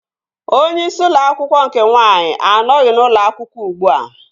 Onye isi ụlọ akwụkwọ nke nwaanyị anọghị n'ụlọ akwụkwọ ugbua